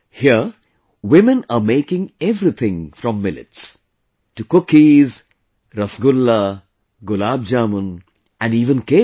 Here women are making everything from millets... to cookies, rasgulla, gulab jamun, and even cakes